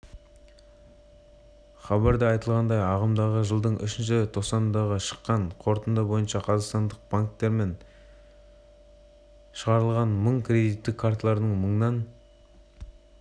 хабарда айтылғандай ағымдағы жылдың үшінші тоқсанында шыққан қорытынды бойынша қазақстандық банктермен шығарылған мың кредиттік карталардың мыңнан